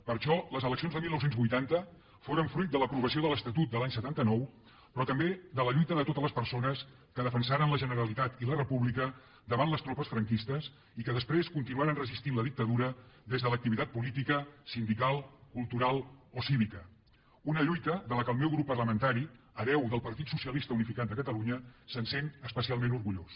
per això les eleccions de dinou vuitanta foren fruit de l’aprovació de l’estatut de l’any setanta nou però també de la lluita de totes les persones que defensaren la generalitat i la república davant les tropes franquistes i que després continuaren resistint la dictadura des de l’activitat política sindical cultural o cívica una lluita de la qual el meu grup parlamentari hereu del partit socialista unificat de catalunya se sent especialment orgullós